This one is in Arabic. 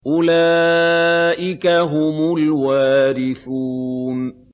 أُولَٰئِكَ هُمُ الْوَارِثُونَ